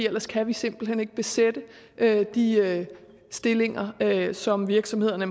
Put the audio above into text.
ellers kan vi simpelt hen ikke besætte de stillinger som virksomhederne